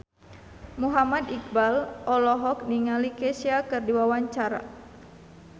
Muhammad Iqbal olohok ningali Kesha keur diwawancara